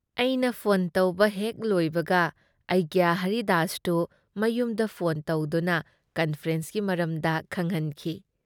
ꯑꯩꯅ ꯐꯣꯟ ꯇꯧꯕ ꯍꯦꯛ ꯂꯣꯏꯕꯒ ꯑꯩꯒ꯭ꯌꯥ ꯍꯔꯤꯗꯥꯁꯇꯨ ꯃꯌꯨꯝꯗ ꯐꯣꯟ ꯇꯧꯗꯨꯅ ꯀꯟꯐꯔꯦꯟꯁꯀꯤ ꯃꯔꯝꯗ ꯈꯪꯍꯟꯈꯤ ꯫